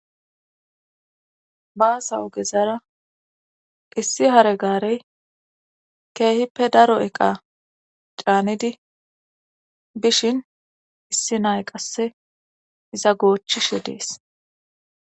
Baasawogezara issi hare gaarey keehippe daro eqa caanidi bishin issi nay qasse iza goochchishe dees.